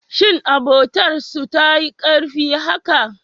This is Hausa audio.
Shin abotar su tayi karfi haka?